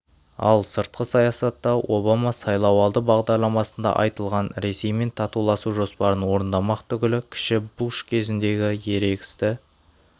ал сыртқы саясатта обама сайлауалды бағдарламасында айтылған ресеймен татуласу жоспарын орындамақ түгілі кіші буш кезіндегі ерегісті